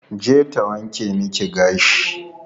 Je ta wanke miki gashi.